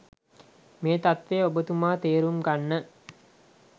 මේ තත්ත්වය ඔබතුමා තේරුම් ගන්න.